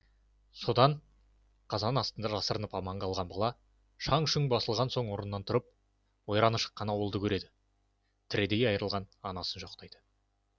содан қазан астында жасырынып аман қалған бала шаң шұң басылған соң орнынан тұрып ойраны шыққан ауылын көреді тірідей айырылған анасын жоқтайды